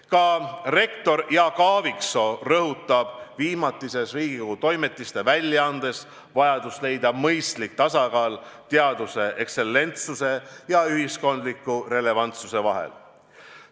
Ka rektor Jaak Aaviksoo rõhutab viimatises Riigikogu Toimetiste väljaandes vajadust leida mõistlik tasakaal teaduse ekstsellentsuse ja ühiskondliku relevantsuse vahel.